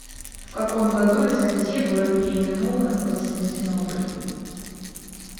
в каком году византия была переименована в константинополь